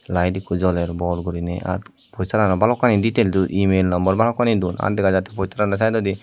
lite ekkho joler bor guriney ar poster ran balukani detail email number balukani don ar dega jattey posterano saidodi.